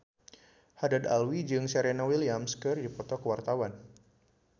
Haddad Alwi jeung Serena Williams keur dipoto ku wartawan